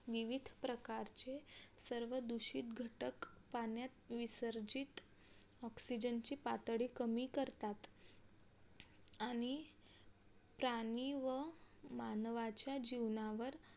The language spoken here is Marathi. विविध प्रकारचे सर्व दूषित घटक पाण्यात विसर्जीत oxygen ची पातळी कमी करता आणि प्राणी व मानवाच्या जीवनावर